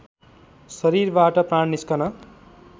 शरीरबाट प्राण निस्कन